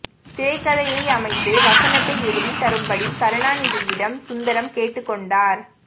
திரைக்கதையை அமைத்து வசனத்தை எழுதித் தரும்படி கருணாநிதியிடம் சுந்தரம் கேட்டுக்கொண்டார்